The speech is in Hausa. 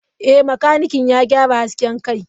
Ee, makanikin ya gyara hasken kai.